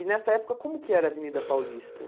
E, nessa época, como que era a Avenida Paulista?